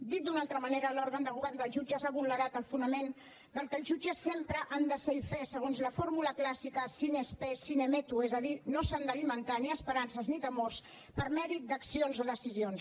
dit d’una altra manera l’òrgan de govern dels jutges ha vulnerat el fonament del que els jutges sempre han de ser i fer segons la fórmula clàssica sine spe sine metu és a dir no s’han d’alimentar ni esperances ni temors per mèrit d’accions o decisions